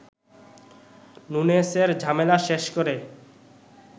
নুনেসের ঝামেলা শেষ করে